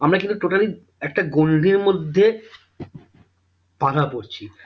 আমরা কিন্তু totally একটা গন্ডির মধ্যে বাধা পড়ছি